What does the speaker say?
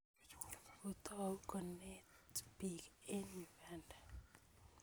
Kotou konet piik eng' Uganda